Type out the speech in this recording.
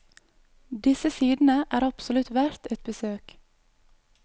Disse sidene er absolutt verdt et besøk.